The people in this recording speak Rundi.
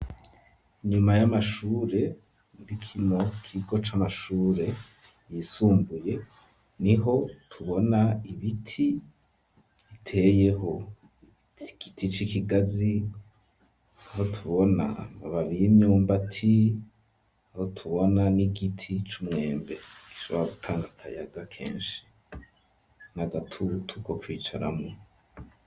Inyuma y'amashure muri kino kigo c'amashure yisumbuye niho tubona ibiti biteyeho igiti c'ikigazi aho tubona amababi y'imyumbati aho tubona n'igiti c'umwembe gishobara gutanga akayaga keshi n'agatutu ko kwicaramwo.